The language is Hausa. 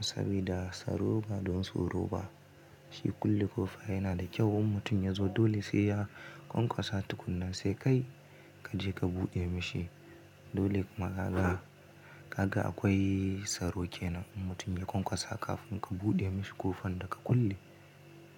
sabida tsaro ba don tsoro ba. Shi kulle ƙofa yana da kyau in mutum ya zo dole sai ya ƙwaƙwasa tukunna sai kai kaje ka buɗe mashi. Dole kuma kaga, kaga akwai tsaro ke nan in mutum ya ƙwaƙwasa kafin ka buɗe mashi ƙofar da ka kulle.